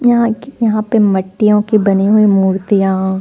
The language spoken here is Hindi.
यहाँ की यहाँ पर मिट्टियो की बनी हुई मुर्तिया।